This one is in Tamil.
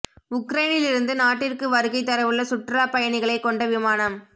உக்ரைனிலிருந்து நாட்டிற்கு வருகைத் தரவுள்ள சுற்றுலாப் பயணிகளைக் கொண்ட விமானம்